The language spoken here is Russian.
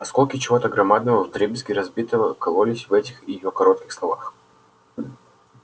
осколки чего-то громадного вдребезги разбитого кололись в этих её коротких словах